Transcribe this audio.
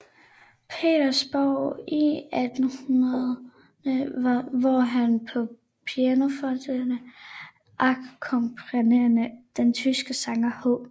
Petersborg i 1800 hvor han på pianoforte akkompagnerede den tyske sanger H